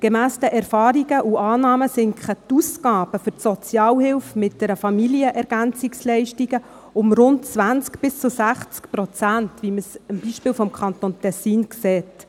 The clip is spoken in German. Gemäss den Erfahrungen sinken die Ausgaben für die Sozialhilfe mit FamilienErgänzungsleistungen um rund 20 bis 60 Prozent, wie man es am Beispiel des Kantons Tessin sieht.